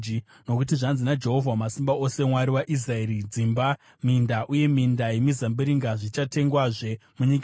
Nokuti zvanzi naJehovha, Wamasimba Ose, Mwari waIsraeri: Dzimba, minda, uye minda yemizambiringa zvichatengwazve munyika ino.’